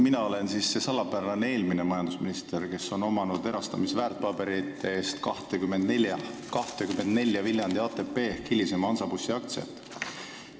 Mina olen siis see salapärane eelmine majandusminister, kes sai erastamisväärtpaberite eest 24 Viljandi ATP, hilisema Hansabussi aktsiat.